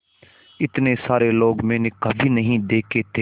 इतने सारे लोग मैंने कभी नहीं देखे थे